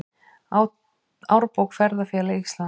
Árbók Ferðafélags Íslands.